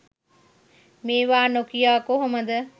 මේවා නොකියා කොහොමද?